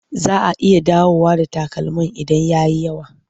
Za a iya dawowa da takalmin idan ya yi yawa.